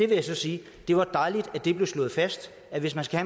vil sige at det var dejligt at det blev slået fast at hvis man skal